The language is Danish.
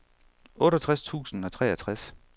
otteogtres tusind og treogtres